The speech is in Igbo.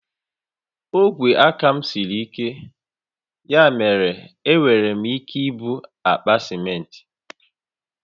Ogwe aka m siri ike, ya mere enwere m ike ibu àkpà simenti